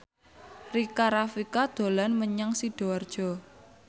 Rika Rafika dolan menyang Sidoarjo